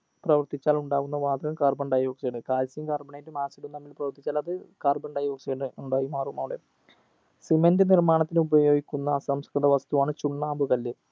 പ്രവർത്തിച്ചാൽ ഉണ്ടാകുന്ന വാതകം carbon dioxide calcium carbonate ഉം acid ഉം തമ്മിൽ പ്രവർത്തിച്ചാൽ അത് carbon dioxide ഉണ്ടായിമാറും അവിടെ cement നിർമ്മാണത്തിന് ഉപയോഗിക്കുന്ന അസംസ്‌കൃത വസ്തുവാണ് ചുണ്ണാമ്പ്കല്ല്